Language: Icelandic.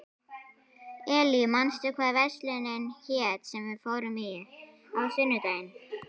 Elí, manstu hvað verslunin hét sem við fórum í á sunnudaginn?